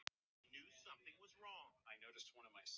Skelf of mikið til að opna gluggann.